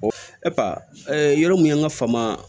yɔrɔ min ye an ka fama